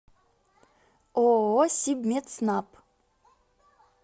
ооо сибметснаб